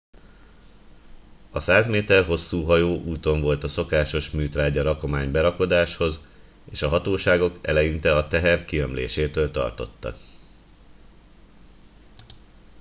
a 100 méter hosszú hajó úton volt a szokásos műtrágya rakomány berakodáshoz és a hatóságok eleinte a teher kiömlésétől tartottak